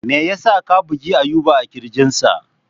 Me yasa ka bugi Ayuba a kirjinsa?